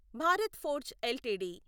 Bharat Forge LTD